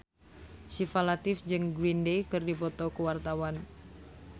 Syifa Latief jeung Green Day keur dipoto ku wartawan